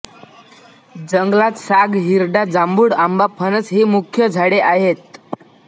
जंगलांत साग हिरडा जांभूळ आंबा फणस ही मुख्य झाडें आहेत